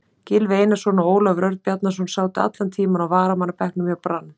Gylfi Einarsson og Ólafur Örn Bjarnason sátu allan tímann á varamannabekknum hjá Brann.